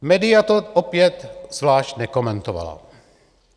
Média to opět zvlášť nekomentovala.